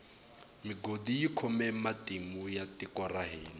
migodi yi khome matimu ya tiko ra hina